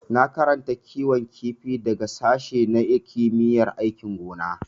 Na karanta kiwon kifi daga sashi na kimiyyar aikin gona.